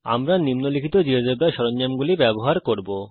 আমরা নিম্নলিখিত জীয়োজেব্রা সরঞ্জামগুলি ব্যবহার করব